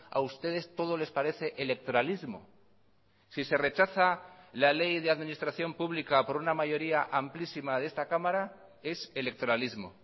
a ustedes todo les parece electoralismo si se rechaza la ley de administración pública por una mayoría amplísima de esta cámara es electoralismo